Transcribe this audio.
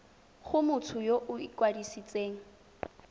go motho yo o ikwadisitseng